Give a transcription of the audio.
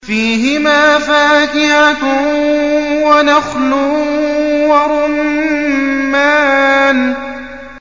فِيهِمَا فَاكِهَةٌ وَنَخْلٌ وَرُمَّانٌ